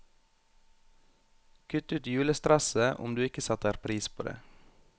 Kutt ut julestresset, om du ikke setter pris på det.